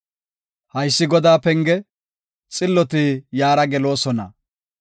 Haysi Godaa penge; xilloti iyara geloosona.